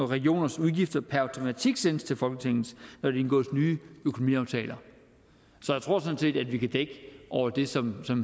regioners udgifter per automatik sendes til folketinget når der indgås nye økonomiaftaler så jeg tror sådan set at vi kan dække over det som